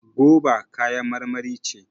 goba kayan marmari ce